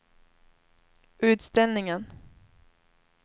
utställningen